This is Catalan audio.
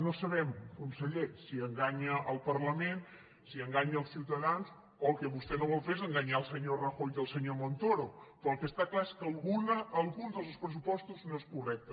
no sabem conseller si enganya el parlament si enganya els ciutadans o el que vostè no vol fer és enganyar el senyor rajoy i el senyor montoro però el que està clar és que algun dels dos pressupostos no és correcte